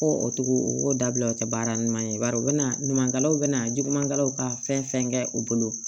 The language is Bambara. Ko o togo o dabila o tɛ baara ɲuman ye bari o bɛna ɲuman kɛlaw bɛna jugumanw ka fɛn fɛn kɛ u bolo